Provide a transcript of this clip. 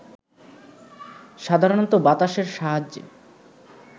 সাধারণত বাতাসের সাহায্যে